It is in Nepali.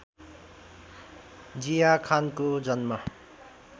जिया खानको जन्म